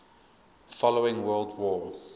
following world war